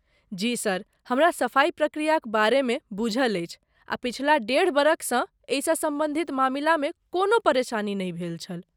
जी sir, हमरा सफाई प्रक्रियाक बारेमे बूझल अछि आ पछिला डेढ़ बरखसँ एहिसँ सम्बन्धित मामिलामे कोनो परेशानी नहि भेल छल।